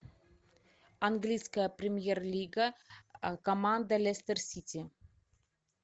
английская премьер лига команда лестер сити